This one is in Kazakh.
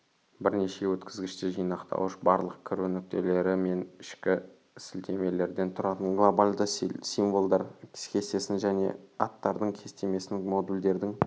бірінші өткізгіште жинақтауыш барлық кіру нүктелері мен ішкі сілтемелерден тұратын глобальді символдар кестесін және аттардың кестесімен модульдердің